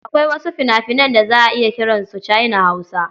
Akwai wasu fina-finan da za a iya kiran su China-Hausa.